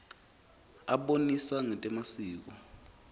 abonisa ngetemasiko